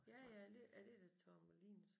Ja ja er det da Torremolinos